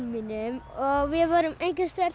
mínum og við vorum